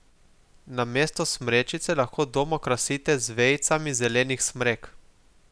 Namesto smrečice lahko dom okrasite z vejicami zelenih smrek.